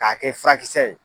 K'a kɛ furakisɛ ye.